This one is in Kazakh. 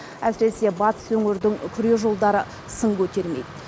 әсіресе батыс өңірдің күре жолдары сын көтермейді